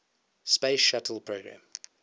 space shuttle program